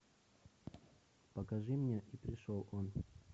покажи мне и пришел он